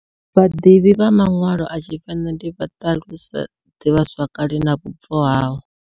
Vhadivhi vha manwalo a Tshivenḓa vha ṱalusa ḓivhazwakale na vhubvo havho.